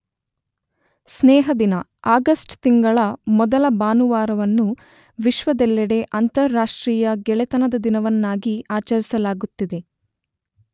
ಸ್ನೇಹ ದಿನ , ಆಗಸ್ಟ್ ತಿಂಗಳ ಮೊದಲ ಭಾನುವಾರವನ್ನು ವಿಶ್ವದೆಲ್ಲೆಡೆ ಅಂತಾರಾಷ್ಟ್ರೀಯ ಗೆಳೆತನದ ದಿನವನ್ನಾಗಿ ಆಚರಿಸಲಾಗುತ್ತಿದೆ.